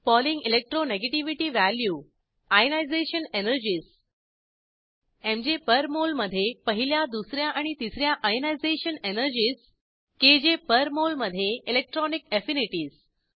polling electro negativity value ionisation energies MJ per mole मधे पहिल्या दुस या आणि तिस या ionisation energies KJ per mole मधे इलेक्ट्रॉनिक एफिनिटीज